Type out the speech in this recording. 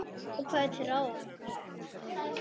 Og hvað er til ráða?